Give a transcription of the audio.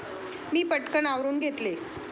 मी पटकन आवरून घेतले.